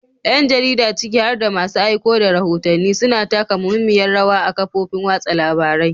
Yan jarida, ciki har da masu aiko da rahotanni, suna taka muhimmiyar rawa a kafofin watsa labarai.